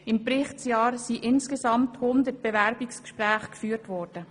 Im Berichtsjahr sind insgesamt 100 Bewerbungsgespräche geführt worden.